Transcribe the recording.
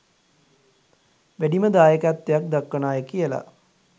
වැඩිම දායකත්වයක් දක්වන අය කියලා.